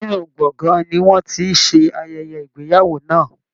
Inú gbọ̀ngàn ni wọ́n ti ń ṣe ayẹyẹ ìgbéyàwó náà